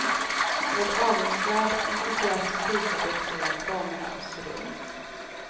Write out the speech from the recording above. Med avundsvärd entusiasm visar de två damerna oss runt.